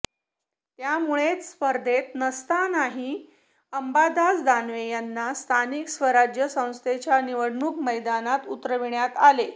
त्यामुळेच स्पर्धेत नसतानाही अंबादास दानवे यांना स्थानिक स्वराज्य संस्थेच्या निवडणूक मैदानात उतरविण्यात आले